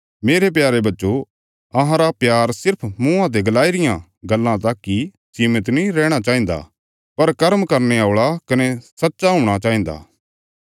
मेरे प्यारे बच्चो अहांरा प्यार सिर्फ मुँआं ते गलाई रियां गल्लां तक इ सीमित नीं रैहणा चाहिन्दा पर कर्म करने औल़ा कने सच्चा हूणा चाहिन्दा